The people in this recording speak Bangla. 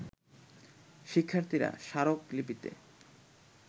শিক্ষার্থীরা স্মারক লিপিতে